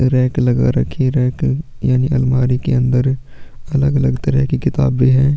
Rack लगा रखी है रैक यानी अलमारी के अंदर अलग -अलग तरह के किताबें हैं।